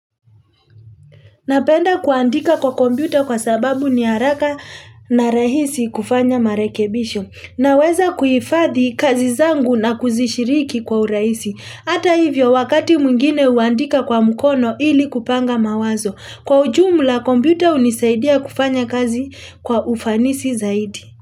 Napenda kuandika kwa kompyuta kwa sababu ni haraka na rahisi kufanya marekebisho. Na weza kuhifadhi kazi zangu na kuzishiriki kwa uraisi. Hata hivyo wakati mwingine huandika kwa mkono ili kupanga mawazo. Kwa ujumla kompyuta hunisaidia kufanya kazi kwa ufanisi zaidi.